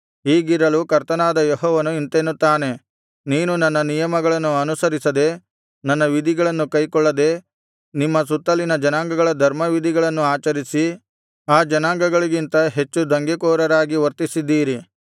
ಹೀಗಿರಲು ಕರ್ತನಾದ ಯೆಹೋವನು ಇಂತೆನ್ನುತ್ತಾನೆ ನೀವು ನನ್ನ ನಿಯಮಗಳನ್ನು ಅನುಸರಿಸದೆ ನನ್ನ ವಿಧಿಗಳನ್ನು ಕೈಕೊಳ್ಳದೆ ನಿಮ್ಮ ಸುತ್ತಲಿನ ಜನಾಂಗಗಳ ಧರ್ಮವಿಧಿಗಳನ್ನು ಆಚರಿಸಿ ಆ ಜನಾಂಗಗಳಿಗಿಂತ ಹೆಚ್ಚು ದಂಗೆಕೋರರಾಗಿ ವರ್ತಿಸಿದ್ದೀರಿ